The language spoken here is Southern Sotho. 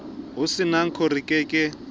ho santaco re ke ke